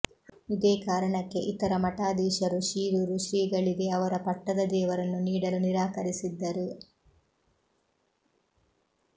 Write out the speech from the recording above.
ಇದೇ ಕಾರಣಕ್ಕೆ ಇತರ ಮಠಾಧೀಶರು ಶಿರೂರು ಶ್ರೀಗಳಿಗೆ ಅವರ ಪಟ್ಟದ ದೇವರನ್ನು ನೀಡಲು ನಿರಾಕರಿಸಿದ್ದರು